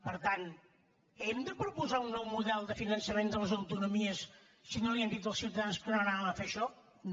per tant hem de proposar un nou model de finançament de les autonomies si no els hem dit als ciutadans que no anàvem a fer això no